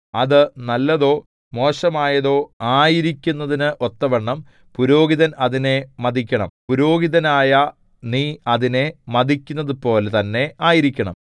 അത് നല്ലതോ മോശമായതോ ആയിരിക്കുന്നതിന് ഒത്തവണ്ണം പുരോഹിതൻ അതിനെ മതിക്കണം പുരോഹിതനായ നീ അതിനെ മതിക്കുന്നതുപോലെ തന്നെ ആയിരിക്കണം